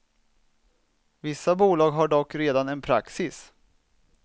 Vissa bolag har dock redan en praxis.